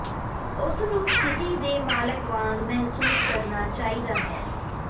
ਉਸ ਨੂੰ ਸਥਿਤੀ ਦੇ ਮਾਲਕ ਵਾਂਗ ਮਹਿਸੂਸ ਕਰਨਾ ਚਾਹੀਦਾ ਹੈ